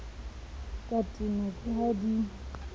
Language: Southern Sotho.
ka tenwa ke ha di